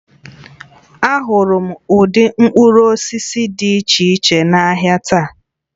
Ahụrụ m ụdị mkpụrụ osisi dị iche iche n'ahịa taa